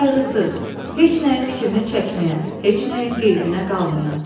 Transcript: Qayğısız, heç nəyin fikrini çəkməyən, heç nəyin qeydinə qalmayan.